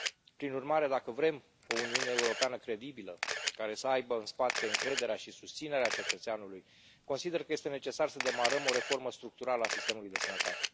Prin urmare, dacă vrem o Uniune Europeană credibilă, care să aibă în spate încrederea și susținerea cetățeanului, consider că este necesar să demarăm o reformă structurală a sistemului de sănătate.